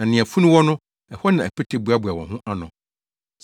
Na nea funu wɔ no, ɛhɔ na apete bɛboaboa wɔn ho ano.